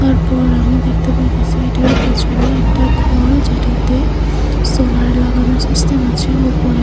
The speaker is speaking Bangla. তারপর আমি দেখতে পাইতেসি এইটার পিছনে একটি ঘর যেটাতে সোলার লাগানো সিস্টেম আছে ওপরে।